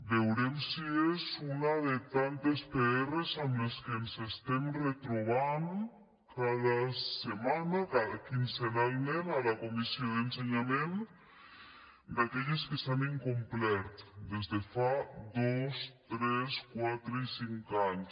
veurem si és una de tantes pr amb què ens retrobem cada setmana quinzenalment a la comissió d’ensenyament d’aquelles que s’han incomplert des de fa dos tres quatre i cinc anys